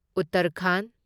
Uttarakhand